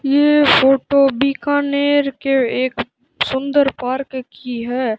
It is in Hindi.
ये फोटो बीकानेर के एक सुंदर पार्क की है।